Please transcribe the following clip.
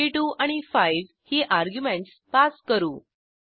42 आणि 5 ही arguments pass करू